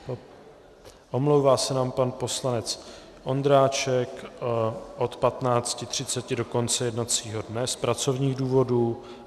Omlouvá se nám pan poslanec Ondráček od 15.30 do konce jednacího dne z pracovních důvodů.